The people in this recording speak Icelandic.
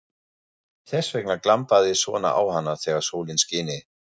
Þess vegna glampaði svona á hana þegar sólin skini.